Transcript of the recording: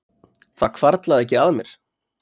Það hvarflaði ekki að mér